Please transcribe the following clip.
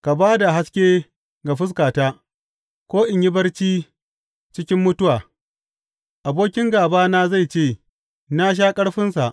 Ka ba da haske ga fuskata, ko in yi barci cikin mutuwa; abokin gābana zai ce, Na sha ƙarfinsa,